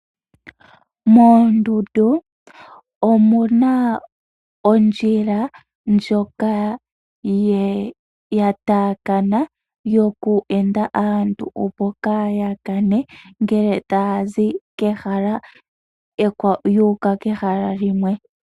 Moondundu omu na ondjila ndjoka ya taakana yoku enda aantu opo kaa ya kane ngele taya zi kehala ekwawo yu uka kehala limwe.